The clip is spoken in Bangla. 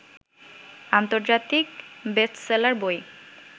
আন্তর্জাতিক বেস্টসেলার বই